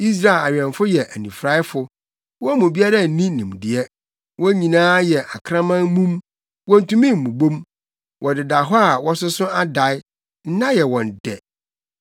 Israel awɛmfo yɛ anifuraefo, wɔn mu biara nni nimdeɛ; wɔn nyinaa yɛ akraman mum, wontumi mmobɔ mu; wɔdeda hɔ na wɔsoso dae, nna yɛ wɔn dɛ.